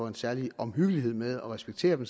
en særlig omhyggelighed med at respektere dem